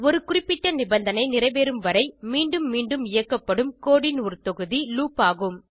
ஒரு குறிப்பிட்ட நிபந்தனை நிறைவேறும் வரை மீண்டும் மீண்டும் இயக்கப்படும் கோடு ன் ஒரு தொகுதி லூப் ஆகும்